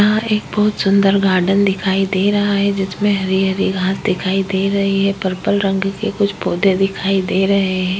यहां एक बहोत सुंदर गार्डन दिखाई दे रहा है जिसमे हरी-हरी घांस दिखाई दे रही है। पर्पल रंग के कुछ पौधे दिखाई दे रहे हैं।